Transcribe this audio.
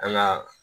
An ka